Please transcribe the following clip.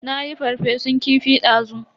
Nayi ferfesun kifi dazu.